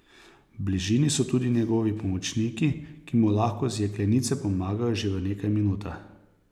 V bližini so tudi njegovi pomočniki, ki mu lahko z jeklenice pomagajo že v nekaj minutah.